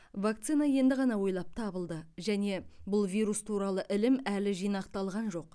вакцина енді ғана ойлап табылды және бұл вирус туралы ілім әлі жинақталған жоқ